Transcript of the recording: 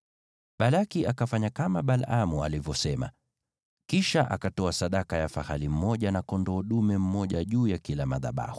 Balaki akafanya kama Balaamu alivyosema, kisha akatoa sadaka ya fahali mmoja na kondoo dume mmoja juu ya kila madhabahu.